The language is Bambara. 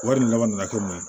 Wari laban na ko mun